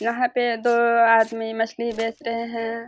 यहाँ पे दो आदमी मछली बेच रहें हैं।